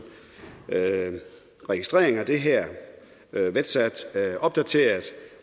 og registreringen af det her i vetstat får det opdateret